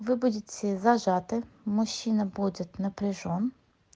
вы будете зажаты мужчина будет напряжён